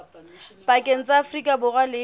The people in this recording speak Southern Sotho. pakeng tsa afrika borwa le